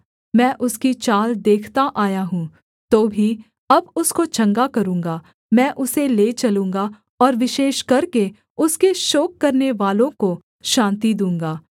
मैं उसकी चाल देखता आया हूँ तो भी अब उसको चंगा करूँगा मैं उसे ले चलूँगा और विशेष करके उसके शोक करनेवालों को शान्ति दूँगा